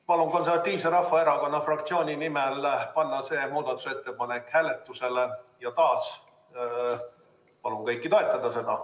Palun Konservatiivse Rahvaerakonna fraktsiooni nimel panna see muudatusettepanek hääletusele ja taas palun kõiki seda toetada!